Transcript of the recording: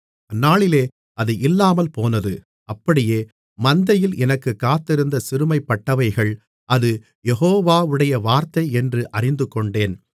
அந்நாளிலே அது இல்லாமல்போனது அப்படியே மந்தையில் எனக்குக் காத்திருந்த சிறுமைப்பட்டவைகள் அது யெகோவாவுடைய வார்த்தையென்று அறிந்துகொண்டன